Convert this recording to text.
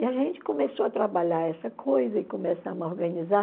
E a gente começou a trabalhar essa coisa e começamos a organizar.